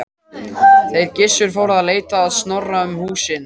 Þeir Gissur fóru að leita Snorra um húsin.